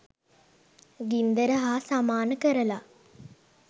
ගින්දර හා සමාන කරලා.